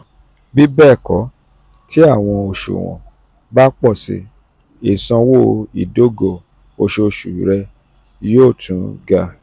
bibẹẹkọ ti awọn oṣuwọn um ba pọ si isanwo idogo oṣooṣu rẹ yoo um tun um ga.